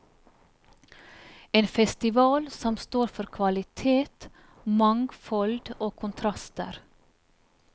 En festival som står for kvalitet, mangfold og kontraster.